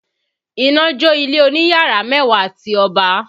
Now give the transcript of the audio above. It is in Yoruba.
Iná jó ilé oní yàrá mẹ́wàá ti Ọba